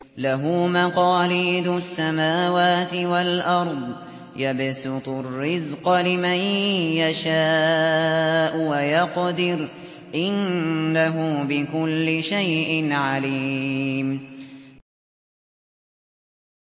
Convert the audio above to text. لَهُ مَقَالِيدُ السَّمَاوَاتِ وَالْأَرْضِ ۖ يَبْسُطُ الرِّزْقَ لِمَن يَشَاءُ وَيَقْدِرُ ۚ إِنَّهُ بِكُلِّ شَيْءٍ عَلِيمٌ